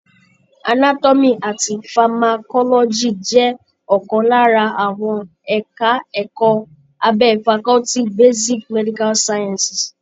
Anatomy àti pharmacology jẹ́ ọ̀kan lára àwọn ẹka ẹ̀kọ́ abẹ́ faculty basic medical sciences.